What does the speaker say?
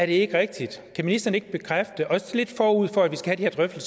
ikke rigtigt kan ministeren ikke bekræfte det også lidt forud for at vi skal have